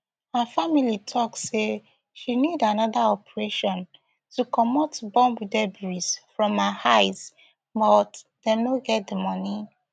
her family tok say she need anoda operation to comot bomb debris from her eyes but dem no get di money